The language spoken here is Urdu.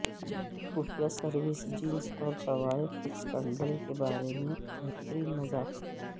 خفیہ سروس جنس اور طوائف اسکینڈل کے بارے میں بہترین مذاق